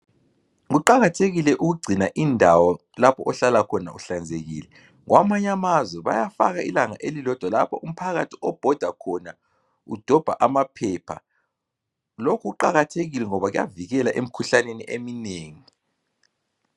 Kuqakathekile ukugcina indawo lapho ohlala ekhona uhlanzekile kwanye amazwe bayafaka ilanga elilodwa lapho umphakathi obhoda khona udobha amaphepha. Lokhu ukuqakathekile ngoba kuyavikela emkhuhlaneni eminengi.